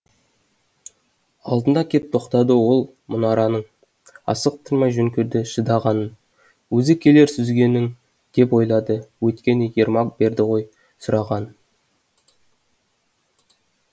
алдына кеп тоқтады ол мұнараның асықтырмай жөн көрді шыдағанын өзі келер сүзгенің деп ойлады өйткені ермак берді ғой сұрағанын